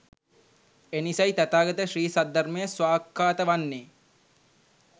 එනිසයි තථාගත ශ්‍රී සද්ධර්මය ස්වාක්ඛාත වන්නේ